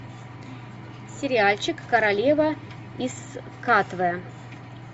сериальчик королева из катве